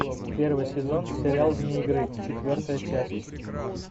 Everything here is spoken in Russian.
первый сезон сериал вне игры четвертая часть